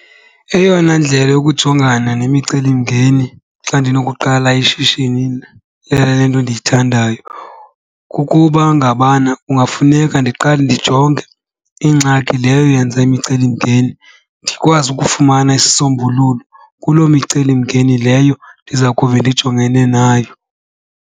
Eyona ndlela yokujongana nemicelimngeni xa ndinokuqala ishishini mna lale nto endiyithandayo kukuba ngabana kungafuneka ndiqale ndijonge ingxaki leyo yenza imicelimngeni, ndikwazi ukufumana isisombululo kulo micelimngeni leyo ndiza kube ndijongene nayo.